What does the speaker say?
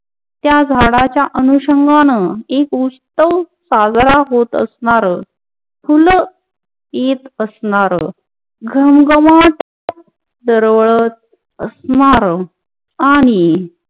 त्या झाडांच्या अनुसंघान एक उत्सव साजरा होत असणार, फुल येत असणार घम-घमाट दरवळत असणार आणि